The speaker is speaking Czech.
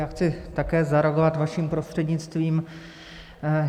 Já chci také zareagovat vaším prostřednictvím.